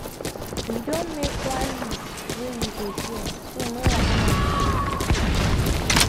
we don make one list wey we go share so no wahala go dey for future. future.